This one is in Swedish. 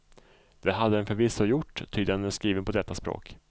Det hade den förvisso gjort, ty den är skriven på detta språk.